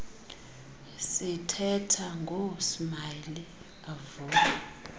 sithetha ngoosmayili avule